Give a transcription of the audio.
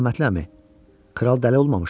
Mərhəmətli əmi, kral dəli olmamışdı.